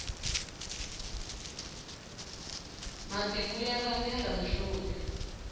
matimu ya vangela mihloti